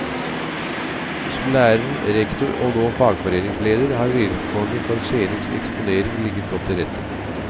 Som lærer, rektor og nå fagforeningsleder har vilkårene for scenisk eksponering ligget godt til rette.